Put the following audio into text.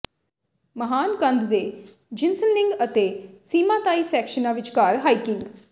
ਮਹਾਨ ਕੰਧ ਦੇ ਜਿਨਸਨਲਿੰਗ ਅਤੇ ਸਿਮਾਤਾਈ ਸੈਕਸ਼ਨਾਂ ਵਿਚਕਾਰ ਹਾਈਕਿੰਗ